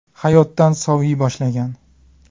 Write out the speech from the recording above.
Hayotdan soviy boshlagan.